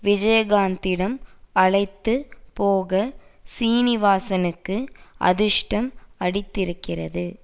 விஜயகாந்திடம் அழைத்து போக சீனிவாசனுக்கு அதிர்ஷ்டம் அடித்திருக்கிறது